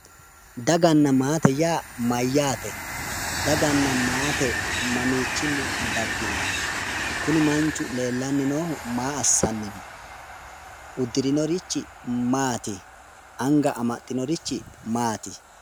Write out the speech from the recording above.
Daganna maate yaa mayyaate? daganna maate mamiichinni daggino? kuni manchu leellanni noohu maa assanni no? uddurinorichi maati? anga amadinorichi maati?